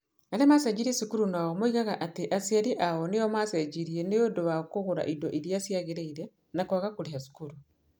Arĩa maacenjirie cukuru nao moigaga atĩ aciari ao nĩo maacenjirie nĩ ũndũ wa kũgũra indo iria ciagĩrĩire na kwaga kũrĩha cukuru.